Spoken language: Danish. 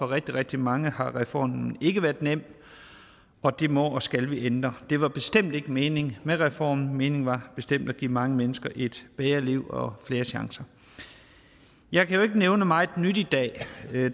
rigtig rigtig mange har reformen ikke været nem og det må og skal vi ændre for det var bestemt ikke meningen med reformen meningen var bestemt at give mange mennesker et bedre liv og flere chancer jeg kan jo ikke nævne meget nyt i dag